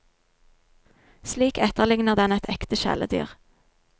Slik etterligner den et ekte kjæledyr.